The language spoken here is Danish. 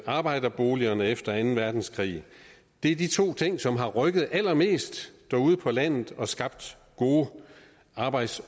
arbejderboligerne efter anden verdenskrig er de to ting som har rykket allermest derude på landet og skabt gode arbejds